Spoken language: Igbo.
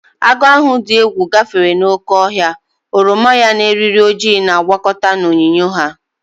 Agụ ahụ dị egwu gafere n'oké ọhịa, oroma ya na eriri ojii na-agwakọta na onyinyo ya.